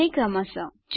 માફ કરજો આ બરાબર રહેશે